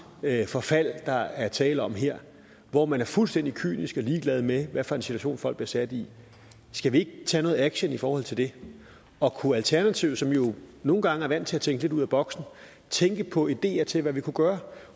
forfald der er tale om her hvor man er fuldstændig kynisk og ligeglad med hvad for en situation folk bliver sat i skal vi ikke tage noget action i forhold til det og kunne alternativet som jo nogle gange er vant til at tænke lidt ud af boksen tænke på ideer til hvad vi kunne gøre